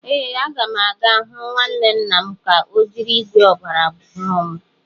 Ee, a ga m aga hụ nwanne nna m ka o jiri ígwè ọgbara ọhụrụ m.